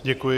Děkuji.